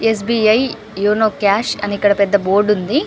Yes B I YONO cash అని ఇక్కడ పెద్ద బోర్డు ఉంది.